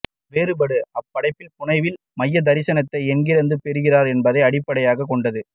வேறுபாடு அப்படைப்பாளி புனைவின் மையத்தரிசனத்தை எங்கிருந்து பெறுகிறார் என்பதை அடிப்படையாகக் கொண்டது